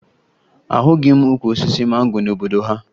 Ahụghị m ukwu osisi mango n'obodo ha